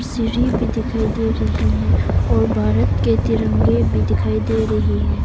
सीढ़ी भी दिखाई दे रही हैं और भारत के तिरंगे भी दिखाई दे रही हैं।